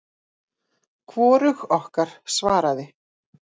Hvorug okkar svaraði.